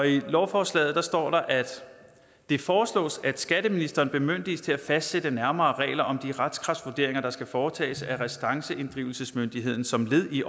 i lovforslaget står der at det foreslås at skatteministeren bemyndiges til at fastsætte nærmere regler om de retskraftvurderinger der skal foretages af restanceinddrivelsesmyndigheden som led i